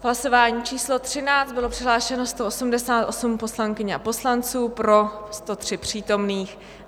V hlasování číslo 13 bylo přihlášeno 188 poslankyň a poslanců, pro 103 přítomných.